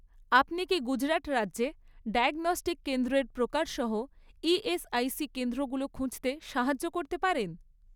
আপনি কি গুজরাট রাজ্যে ডায়াগনস্টিক কেন্দ্রের প্রকার সহ ইএসআইসি কেন্দ্রগুলো খুঁজতে সাহায্য করতে পারেন?